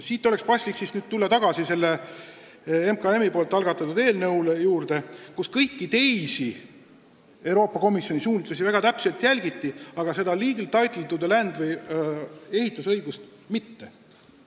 Siit oleks paslik tulla tagasi selle MKM-i algatatud eelnõu juurde, kus kõiki teisi Euroopa Komisjoni suunitlusi väga täpselt järgiti, aga seda legal title'it to the land ehk ehitusõigust mitte.